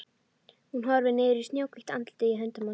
Hún horfir niður í snjóhvítt andlitið í höndum hans.